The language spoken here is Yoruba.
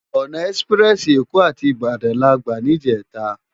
Òná èsipirèsi Ékò àti Ibadan làgbá nijètá